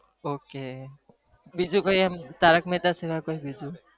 Okay બીજું કય અમ તારક મહેતા સિવાય કોઈ બીજું ok